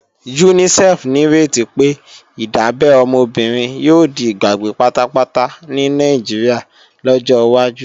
UNICEF nírètí pé, ìdábẹ́ ọmọ obìnrin yóò di ìgbàgbé pátápátá ní Nàìjíríà lọ́jọ́ wájú